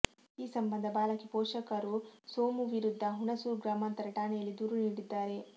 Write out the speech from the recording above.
ಈ ಸಂಬಂಧ ಬಾಲಕಿ ಪೋಷಕರು ಸೋಮು ವಿರುದ್ಧ ಹುಣಸೂರು ಗ್ರಾಮಾಂತರ ಠಾಣೆಯಲ್ಲಿ ದೂರು ನೀಡಿದ್ದಾರೆ